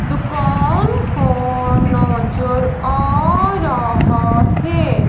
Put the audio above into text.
दुकान को नजर आ रहा है।